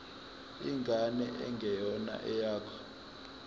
ingane engeyona eyakho